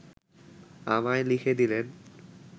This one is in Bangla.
আমায় লিখে দিলেন